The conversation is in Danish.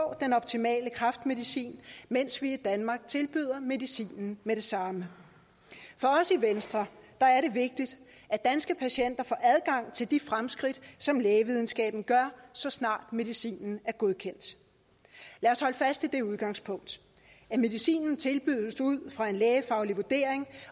den optimale kræftmedicin mens vi i danmark tilbyder medicinen med det samme for os i venstre er det vigtigt at danske patienter får adgang til de fremskridt som lægevidenskaben gør så snart medicinen er godkendt lad os holde fast i det udgangspunkt at medicinen tilbydes ud fra en lægefaglig vurdering